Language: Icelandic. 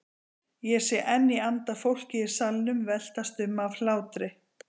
Ég sé enn í anda fólkið í salnum veltast um af hlátri.